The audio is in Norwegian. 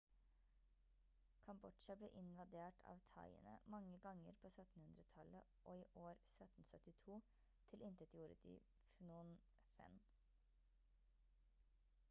kambodsja ble invadert av thaiene mange ganger på 1700-tallet og i år 1772 tilintetgjorde de phnom phen